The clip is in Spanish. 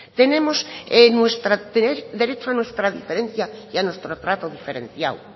tenemos en nuestra derecho a nuestra diferencia y a nuestro trato diferenciado